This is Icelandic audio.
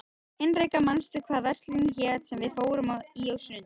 Hinrikka, manstu hvað verslunin hét sem við fórum í á sunnudaginn?